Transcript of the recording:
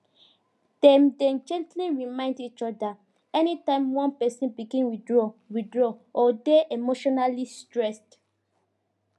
dem dey gently remind each other anytime one person begin withdraw withdraw or dey emotionally stressed